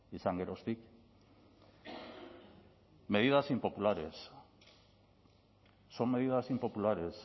izan geroztik medidas impopulares son medidas impopulares